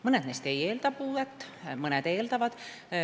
Mõned neist ei eelda puuet, mõned eeldavad.